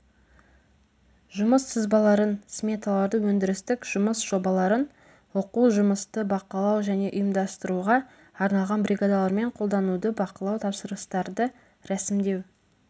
жұмыс сызбаларын сметаларды өндірістік жұмыс жобаларын оқу жұмысты бақылау және ұйымдастыруға арналған бригадалармен қолдануды бақылау тапсырыстарды рәсімдеу